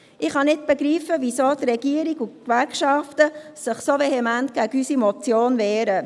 Ich kann nicht begreifen, weshalb die Regierung und die Gewerkschaften sich so vehement gegen unsere Motion wehren.